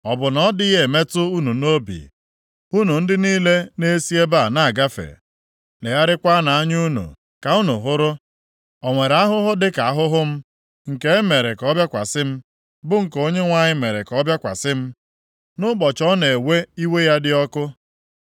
“Ọ bụ na ọ dịghị emetụ unu nʼobi, unu ndị niile na-esi ebe a na-agafe? Legharịanụ anya unu ka unu hụrụ. O nwere ahụhụ dịka ahụhụ m, nke e mere ka ọ bịakwasị m, bụ nke Onyenwe anyị mere ka ọ bịakwasị m, nʼụbọchị ọ na-ewe iwe ya dị ọkụ?